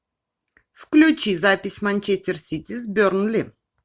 включи запись манчестер сити с бернли